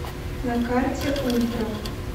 на карте ультра